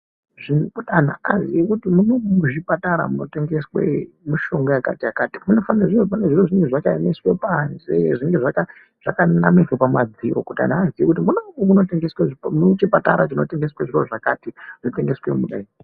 Zviripo kuti antu aziye kuti mumomu muchipatara munotengeswe mishonga yakati neyakati. Pane zviro zvinenge zvakaemeswa panze, zvinenge zvakanamirwa pamadziro kuti vantu vaziye kuti munomu muchipatara chinotengeswe zviro zvakati.